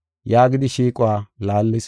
yaagidi shiiquwa laallis.